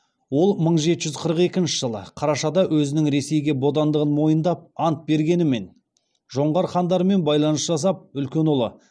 ол мың жеті жүз қырық екінші жылы қарашада өзінің ресейге бодандығын мойындап ант бергенімен жоңғар хандарымен байланыс жасап үлкен ұлы